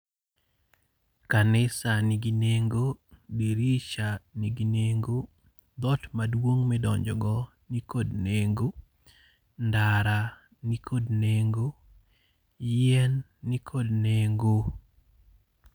Kanisa nigi nengo. Dirisha nigi nengo. Dhoot maduong' ma idonjogo nikod nengo. Ndara nikod nengo. Yien nikod nengo.